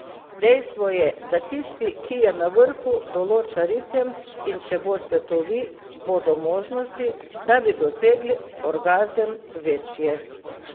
Dejstvo je, da tisti, ki je na vrhu, določa ritem, in če boste to vi, bodo možnosti, da bi dosegli orgazem, večje.